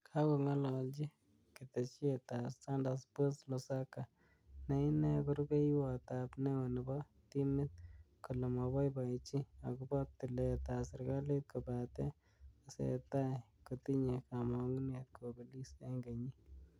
Kakonga'alalchi keteshet ab Standard Sports Lusaga ne inee ko rubeiywot ab neo nebo timit, kole maboiboichi akobo tilet ab serkalit kobate tesetai kotinye kama'ngunet kobelis eng kenyit.